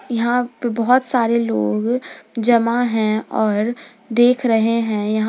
यहां पे बहोत सारे लोग जमा हैं और देख रहे हैं यहां--